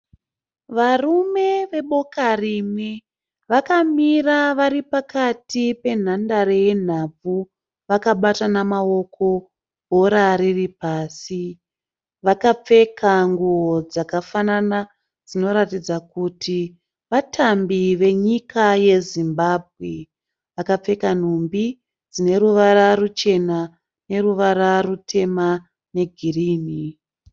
Varume veboka rimwe. Vakamira vari pakati penhandare yenhabvu vakabatana maoko bhora riri pasi. Vakapfeka nguwo dzakafanana dzinoratidza kuti vatambi venyika yeZimbabwe. Vakapfeka nhumbi dzine ruvara ruchena neruva rutema negirinhi.